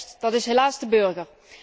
Juist, dat is helaas de burger.